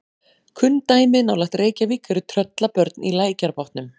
Kunn dæmi nálægt Reykjavík eru Tröllabörn í Lækjarbotnum.